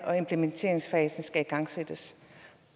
og at implementeringsfasen skulle igangsættes